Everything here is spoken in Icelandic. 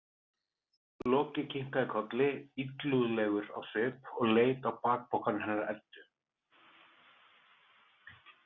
Loki kinkaði kolli illúðlegur á svip og leit á bakpokann hennar Eddu.